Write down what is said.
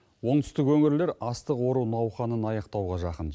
оңтүстік өңірлер астық ору науқанын аяқтауға жақын